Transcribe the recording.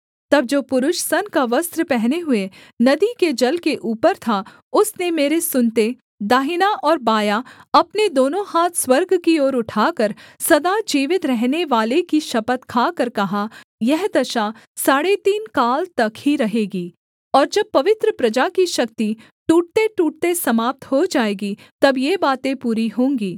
तब जो पुरुष सन का वस्त्र पहने हुए नदी के जल के ऊपर था उसने मेरे सुनते दाहिना और बायाँ अपने दोनों हाथ स्वर्ग की ओर उठाकर सदा जीवित रहनेवाले की शपथ खाकर कहा यह दशा साढ़े तीन काल तक ही रहेगी और जब पवित्र प्रजा की शक्ति टूटतेटूटते समाप्त हो जाएगी तब ये बातें पूरी होंगी